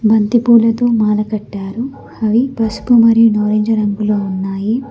బంతిపూలతో మాల కట్టారు అవి పసుపు మరియు నారింజ రంగులో ఉన్నాయి.